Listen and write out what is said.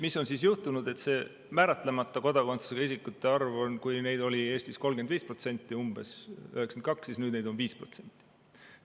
Mis on siis juhtunud, on see, et määratlemata kodakondsusega isikute arv, kui neid oli Eestis 1992. aastal umbes 35%, siis nüüd on neid 5%.